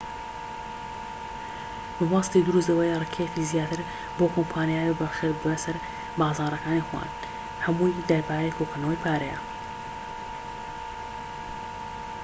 مەبەستی دروست ئەوەیە ڕکێفی زیاتر بەو کۆمپانیایانە ببەخشیت بەسەر بازاڕەکانی خۆیان هەمووی دەربارەی کۆکردنەوەی پارەیە